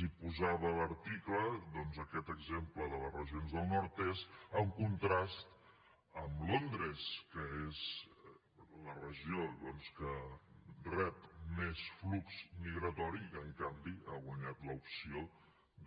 i posava l’article doncs aquest exemple de les regions del nordest en contrast amb londres que és la regió que rep més flux migratori i on en canvi ha guanyat l’opció